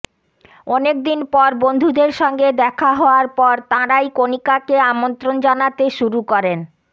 অনেকদিন পর বন্ধুদের সঙ্গে দেখা হওয়ার পর তাঁরাই কণিকাকে আমন্ত্রণ জানাতে শুরু করেন